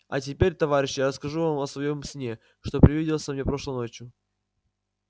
а теперь товарищи я расскажу вам о своём сне что привиделся мне прошлой ночью